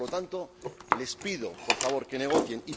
Por lo tanto, les pido, por favor, que negocien.